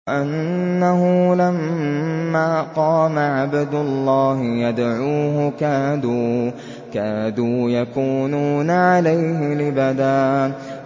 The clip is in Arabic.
وَأَنَّهُ لَمَّا قَامَ عَبْدُ اللَّهِ يَدْعُوهُ كَادُوا يَكُونُونَ عَلَيْهِ لِبَدًا